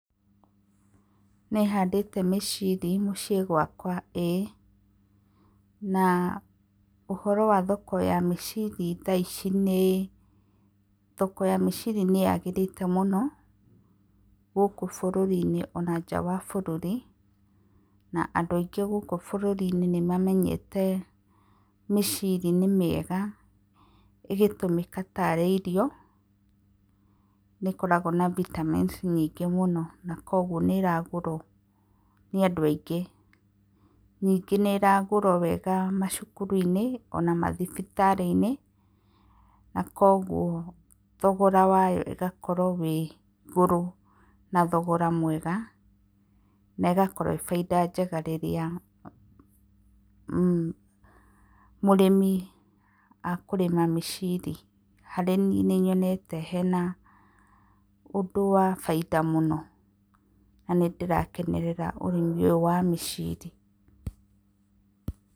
Nĩhandĩte mĩciri mũciĩ gwaka ĩĩ na ũhoro wa thoko ya miciri tha ici nĩ: Thoko ya mĩciri nĩ yaagĩrĩre mũno gũkũ bũrũri-inĩ ona nja wa bũrũri na andũ aingĩ guku bũrũri-inĩ nimamenyete mĩciri nĩ mĩega ĩgĩtũmĩka tarĩ irio. Nĩ ĩkoragwo na vitamins nyingĩ mũno na kwoguo nĩ ĩragũrwo nĩ andũ aingĩ. Ningĩ nĩ ĩragũrwo wega macukuru-inĩ ona mathibitarĩ-inĩ na koguo thogora wayo ũgakorwo wĩ igũrũ na thogora mwega. Na ĩgakorwo ĩĩ baita njega rĩrĩa mũrĩmi akũrĩma mĩciri. Harĩ niĩ nĩnyonete hena ũndũ wa baita mũno na nĩ ndĩrakenerera ũrĩmi ũyũ wa mĩciri.